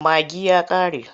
Magi ya ƙare.